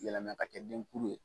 Yala n'a kateli ni denkulu ye.